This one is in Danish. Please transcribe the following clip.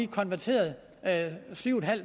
konverteret syv